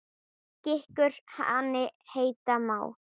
Gikkur hani heita má.